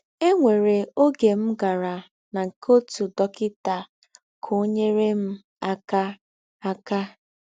E nwere ọge m gara na nke ọtụ dọkịta ka ọ nyere m aka aka.